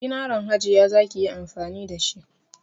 Zinaran Hajiya za ki yi amfani da shi.